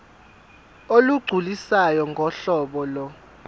olugculisayo ngohlobo lo